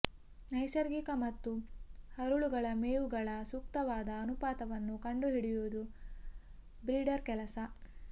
ನೈಸರ್ಗಿಕ ಮತ್ತು ಹರಳುಗಳ ಮೇವುಗಳ ಸೂಕ್ತವಾದ ಅನುಪಾತವನ್ನು ಕಂಡುಹಿಡಿಯುವುದು ಬ್ರೀಡರ್ ಕೆಲಸ